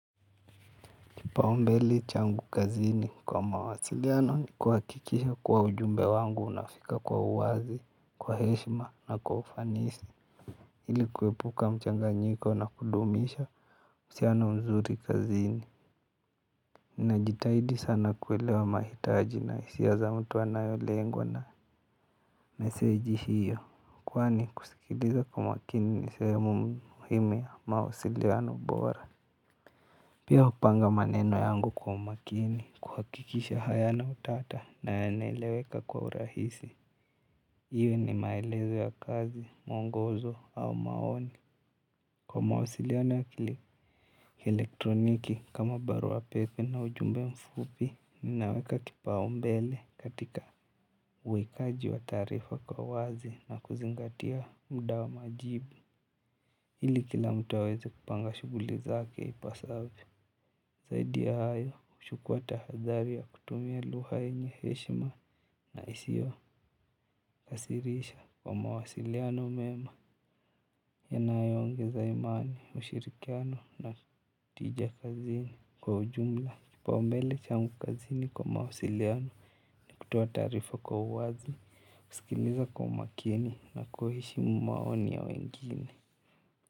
Kipau mbele changu kazini kwa mawasiliano ni kuhakikisha kuwa ujumbe wangu unafika kwa uwazi, kwa heshima na kwa ufanisi. Ili kuepuka mchanganyiko na kudumisha uhusiano mzuri kazini. Najitahidi sana kuelewa mahitaji na hisia za mtu anayolengwa na meseji hiyo. Kwani kusikiliza kwa makini ni sehemu muhimi ya mawasiliano bora. Pia hupanga maneno yangu kwa umakini kuhakikisha hayana utata na yanaeleweka kwa urahisi iwe ni maelezo ya kazi, mwongozo au maoni. Kwa mawasiliano ya kielektroniki kama barua pepe na ujumbe mfupi, ninaweka kipau mbele katika uwekaji wa taarifa kwa uwazi na kuzingatia mda wa majibu. Ili kila mtu aweze kupanga shughuli zake ipasavyo. Zaidi ya hayo huchukua tahadhari ya kutumia lugha yenye heshima na isio kasirisha kwa mawasiliano mema yanayoongeza imani, ushirikiano na tija kazini kwa ujumla. Kipau mbele changu kazini kwa mawasiliano, ni kutoa taarifa kwa uwazi, kusikiliza kwa umakini na kuheshimu maoni ya wengine.